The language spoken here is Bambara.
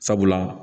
Sabula